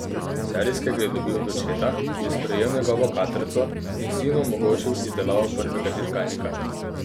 Serijskega je dobil od očeta, ki je sprejel njegovo katrco in sinu omogočil izdelavo prvega dirkalnika.